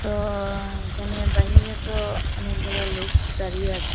তো এখানে বাহিরে তো অনেকগুলা লোক দাঁড়িয়ে আছে।